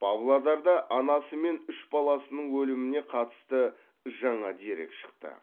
павлодарда анасы мен үш баласының өліміне қатысты жаңа дерек шықты